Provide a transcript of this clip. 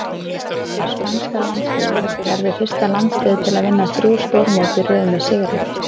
Spænska landsliðið- Verður fyrsta landsliðið til að vinna þrjú stórmót í röð með sigri.